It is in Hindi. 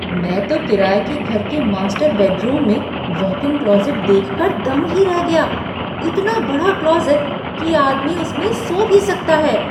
मैं तो किराए के घर के मास्टर बेडरूम में वॉक इन क्लोसेट देख कर दंग ही रह गया, इतना बड़ा क्लोसेट कि आदमी उसमें सो भी सकता है।